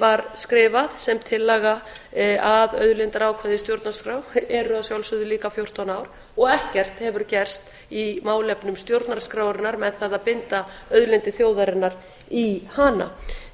var skrifað sem tillaga að auðlindaákvæði í stjórnarskrá eru að sjálfsögðu líka fjórtán ár og ekkert hefur gerst í málefnum stjórnarskrárinnar með það að binda auðlindir þjóðarinnar í hana